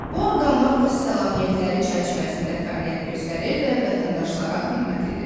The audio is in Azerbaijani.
Bu orqanlar öz səlahiyyətləri çərçivəsində fəaliyyət göstərir və vətəndaşlara xidmət edir.